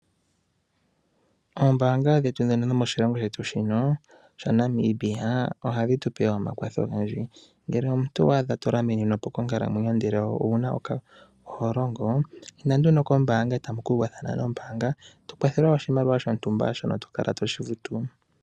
Ombaanga dhetu dhino dhomashilongo shetu sha Namibia ohadhi tupe omakwatho ogendji ngele omuntu owa adha to lamininwa konkalamwenyo ndele oho longo inda nduno kombaanga eta mu ku uvathana nombaanga to kwathelwa oshimaliwa shontumba shono to kala toshi futu.